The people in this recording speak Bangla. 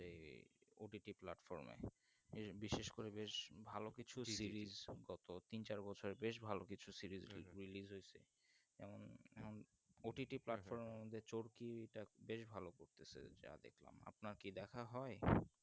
এই বিশেষ করে বেশ ভালো কিছু series শব্দ অর্থ তিন চার বছরে বেশ ভালো কিছু series হয়েছে যেমন হম OTTPlatform যে চরকি যাক বেশ ভাল করতেচলেছে যা দেখলাম আপনার কি দেখা হয়